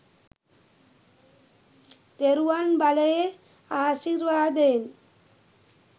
තෙරුවන් බලයේ ආශිර්වාදයෙන්.